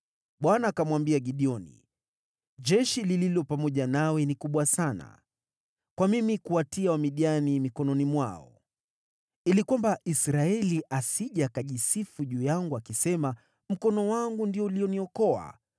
Bwana akamwambia Gideoni, “Jeshi lililo pamoja nawe ni kubwa sana kwa mimi kuwatia Wamidiani mikononi mwao. Ili kwamba Israeli asije akajisifu juu yangu akisema, ‘Mkono wangu ndio ulioniokoa,